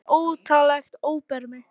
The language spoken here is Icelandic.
Eiginlega óttalegt óbermi.